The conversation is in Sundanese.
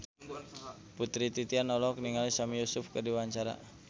Putri Titian olohok ningali Sami Yusuf keur diwawancara